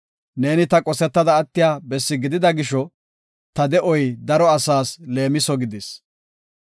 Neeni ta qosetada attiya bessi gidida gisho, ta de7oy daro asaas leemiso gidis.